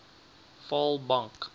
vaalbank